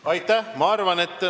Aitäh!